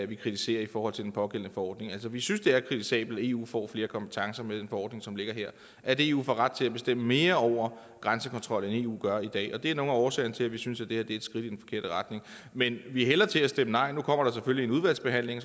vi kritiserer i forhold til den pågældende forordning vi synes det er kritisabelt at eu får flere kompetencer med den forordning som ligger her og at eu får ret til at bestemme mere over grænsekontrol end eu gør i dag det er nogle årsagerne til at vi synes det her er et skridt i den forkerte retning men vi hælder til at stemme nej nu kommer der selvfølgelig en udvalgsbehandling